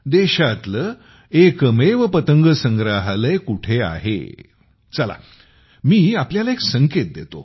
देशातले एकमेव पतंग संग्रहालय कोठे आहे चला मी तुम्हाला एक संकेत देतो